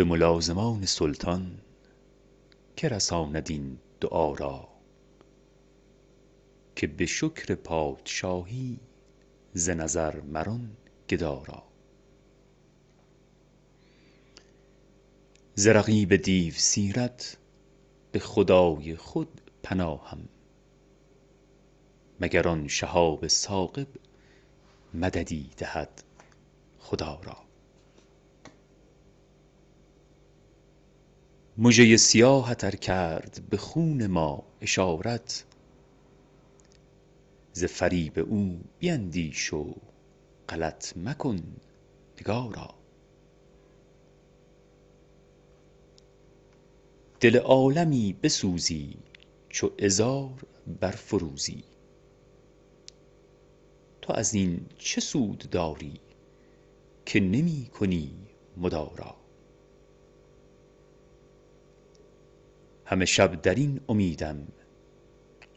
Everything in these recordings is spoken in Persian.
به ملازمان سلطان که رساند این دعا را که به شکر پادشاهی ز نظر مران گدا را ز رقیب دیوسیرت به خدای خود پناهم مگر آن شهاب ثاقب مددی دهد خدا را مژه ی سیاهت ار کرد به خون ما اشارت ز فریب او بیندیش و غلط مکن نگارا دل عالمی بسوزی چو عذار برفروزی تو از این چه سود داری که نمی کنی مدارا همه شب در این امیدم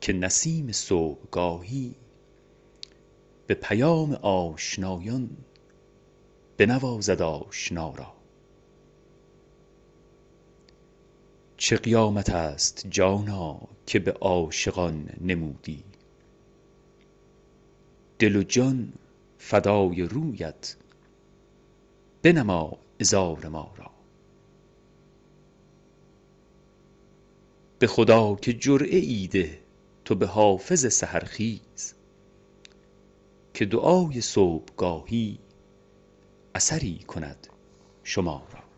که نسیم صبحگاهی به پیام آشنایان بنوازد آشنا را چه قیامت است جانا که به عاشقان نمودی دل و جان فدای رویت بنما عذار ما را به خدا که جرعه ای ده تو به حافظ سحرخیز که دعای صبحگاهی اثری کند شما را